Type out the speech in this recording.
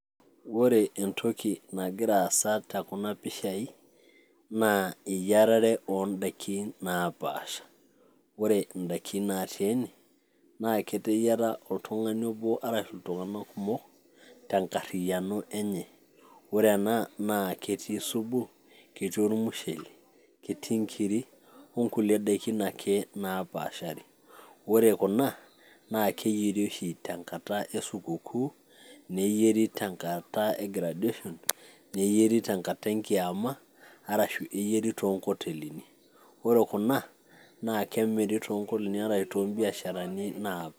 Ore entoki nagira aasa tekuna pishai, naa eyiarare odaikin napaasha. Ore idaiki natii ene, naa keteyiara oltung'ani obo arashu iltung'anak kumok, tenkarriyiano enye. Ore ena, na ketii supu, ketii ormushele, ketii nkiri, onkulie daikin ake napaashari. Ore kuna, na keyieri oshi tenkata esupukuu, neyieri tenkata e graduation, neyieri tenkata enkiama, arashu eyieri tonkotelini. Ore kuna, na kemiri tonkotelini arashu tobiasharani.